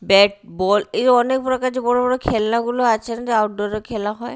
Bat ball এই অনেক প্রকার যে বড় বড় খেলনাগুলো আছেন যে আউটডোর -এ খেলা হয়।